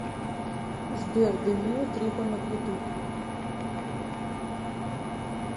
сбер даниил трифонов ютуб